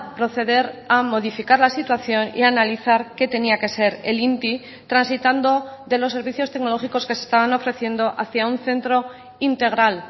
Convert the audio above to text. proceder a modificar la situación y analizar qué tenía que ser el inti transitando de los servicios tecnológicos que se estaban ofreciendo hacia un centro integral